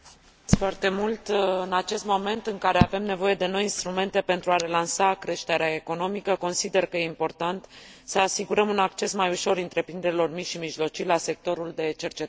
În acest moment în care avem nevoie de noi instrumente pentru a relansa creșterea economică, consider că este important să asigurăm un acces mai ușor întreprinderilor mici și mijlocii la sectorul de cercetare și dezvoltare.